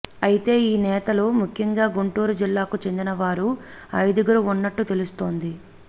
అయితే ఈ నేతలు ముఖ్యంగా గుంటూరు జిల్లాకు చెందిన వారు ఐదుగురు ఉన్నట్లు తెలుస్తోంది